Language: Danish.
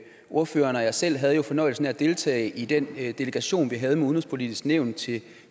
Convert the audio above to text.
ordføreren og jeg selv havde jo fornøjelsen af at deltage i den delegation vi havde med det udenrigspolitiske nævn til